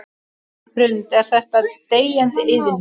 Hrund: Er þetta deyjandi iðn?